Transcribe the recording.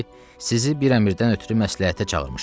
Sizi bir əmrdən ötrü məsləhətə çağırmışam.